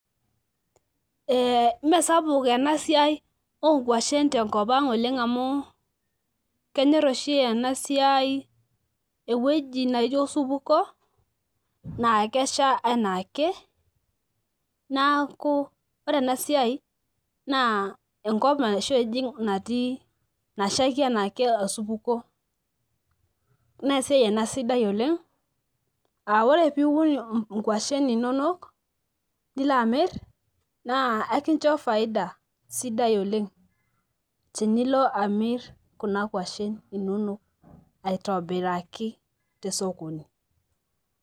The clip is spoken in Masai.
Ee, mmeesapuk enasiai oonkwashen tenkopang oleng amu kenyor oshi enasiai ewueji naijo osupuko naa kesha anaake naaku ore enasiai naa enkop oshi ejing nashaiki anaake osupuko nee esiai enasidai oleng aa ore piun inkwashen inonok nilo amir naa ekincho faida sidai oleng tinilo amir kuna kwashen inonok aitobiraki tesokoni.